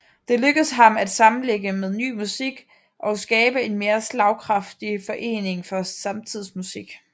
Det lykkedes ham at sammenlægge med Ny Musik og skabe en mere slagkraftig forening for samtidsmusik